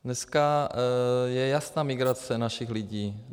Dneska je jasná migrace našich lidí.